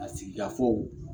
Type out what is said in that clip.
A sigikafɔw